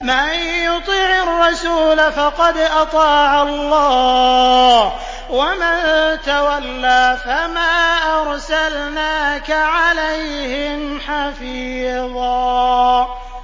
مَّن يُطِعِ الرَّسُولَ فَقَدْ أَطَاعَ اللَّهَ ۖ وَمَن تَوَلَّىٰ فَمَا أَرْسَلْنَاكَ عَلَيْهِمْ حَفِيظًا